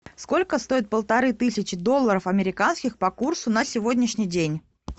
сколько стоит полторы тысячи долларов американских по курсу на сегодняшний день